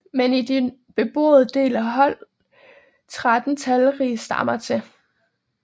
Men i den beboede del holdt 13 talrige stammer til